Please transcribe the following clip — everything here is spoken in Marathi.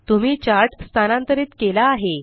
तुम्ही चार्ट स्थानांतरित केला आहे